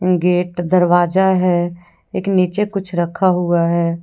Gate दरवाजा है। एक नीचे कुछ रखा हुआ है।